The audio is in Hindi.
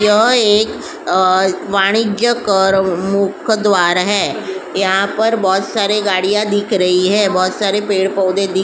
यहाँ एक वाणिजय कर मुख्य द्वार है यहाँ पर बहुत सारी गाड़ियां दिख रही है बहुत सारे पेड़ पौधे दिख --